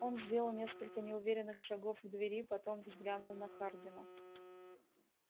он сделал несколько неуверенных шагов к двери потом взглянул на хардина